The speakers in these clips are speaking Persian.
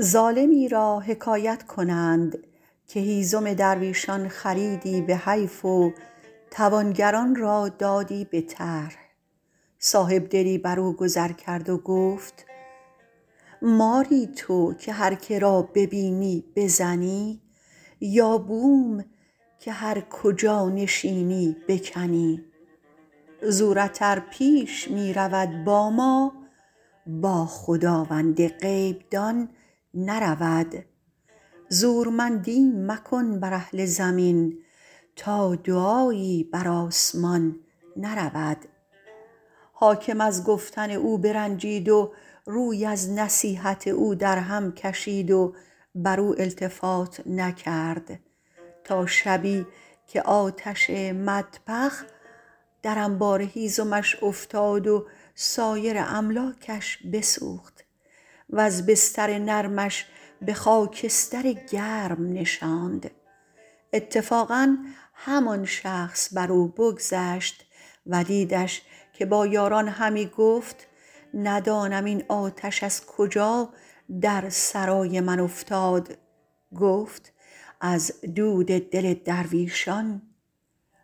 ظالمی را حکایت کنند که هیزم درویشان خریدی به حیف و توانگران را دادی به طرح صاحبدلی بر او گذر کرد و گفت ماری تو که هر که را ببینی بزنی یا بوم که هر کجا نشینی بکنی زورت ار پیش می رود با ما با خداوند غیب دان نرود زورمندی مکن بر اهل زمین تا دعایی بر آسمان نرود حاکم از گفتن او برنجید و روی از نصیحت او در هم کشید و بر او التفات نکرد تا شبی که آتش مطبخ در انبار هیزمش افتاد و سایر املاکش بسوخت وز بستر نرمش به خاکستر گرم نشاند اتفاقا همان شخص بر او بگذشت و دیدش که با یاران همی گفت ندانم این آتش از کجا در سرای من افتاد گفت از دل درویشان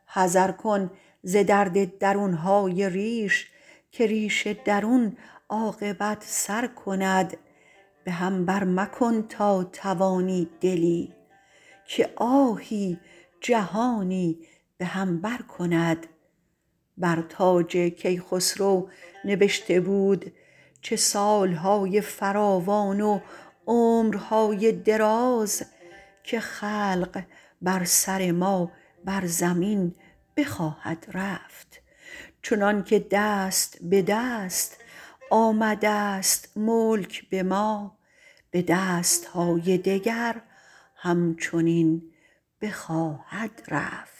حذر کن ز درد درون های ریش که ریش درون عاقبت سر کند به هم بر مکن تا توانی دلی که آهی جهانی به هم بر کند بر تاج کیخسرو نبشته بود چه سال های فراوان و عمر های دراز که خلق بر سر ما بر زمین بخواهد رفت چنان که دست به دست آمده ست ملک به ما به دست های دگر هم چنین بخواهد رفت